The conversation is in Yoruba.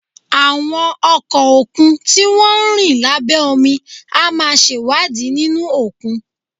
Àwọn ọkọ̀ òkun tí wọ́n ń rìn lábẹ́ omi á máa ṣèwádìí nínú òkun